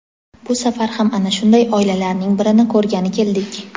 Bu safar ham ana shunday oilalarning birini ko‘rgani keldik.